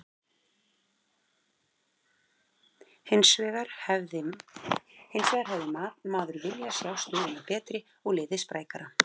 Hinsvegar hefði maður viljað sjá stöðuna betri og liðið sprækara.